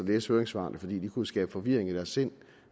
læse høringssvarene fordi de jo kunne skabe forvirring i deres sind